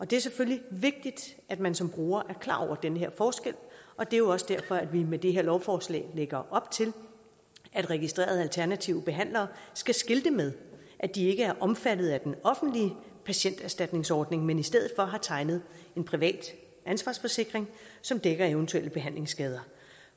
det er selvfølgelig vigtigt at man som bruger er klar over den her forskel og det er også derfor at vi med det her lovforslag lægger op til at registrerede alternative behandlere skal skilte med at de ikke er omfattet af den offentlige patienterstatningsordning men i stedet for har tegnet en privat ansvarsforsikring som dækker eventuelle behandlingsskader